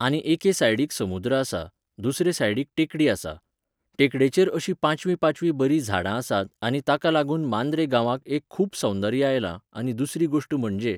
आनी एके सायडीक समुद्र आसा, दुसरे सायडीक टेकडी आसा. टेकडेचेर अशीं पांचवीं पांचवीं बरीं झाडां आसात आनी ताका लागून मांद्रे गावांक एक खूब सौंदर्य आयलां, आनी दुसरी गोश्ट म्हणजे